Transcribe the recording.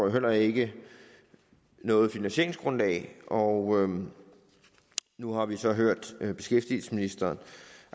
jo heller ikke noget finansieringsgrundlag og nu har vi så hørt beskæftigelsesministeren